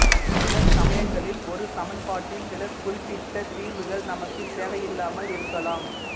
சில சமயங்களில் ஒரு சமன்பாட்டின் சில குறிப்பிட்டத் தீர்வுகள் நமக்குத் தேவையில்லாமல் இருக்கலாம்